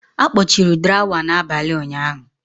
A kpọchiri drawer n'abalị ụnyahụ.